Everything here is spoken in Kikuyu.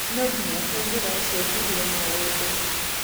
Nũnginya tũngeracenjirie maũndũ.